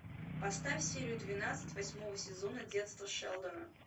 поставь серию двенадцать восьмого сезона детство шелдона